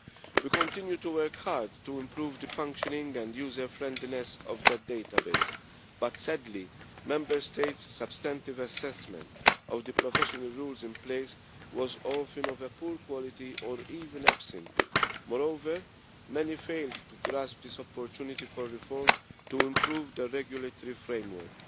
We continue to work hard to improve the functioning and user friendliness of that database but sadly, Member States' substantive assessment of the professional rules in place was often of a poor quality or even absent. Moreover, many failed to grasp this opportunity for reform to improve their regulatory framework,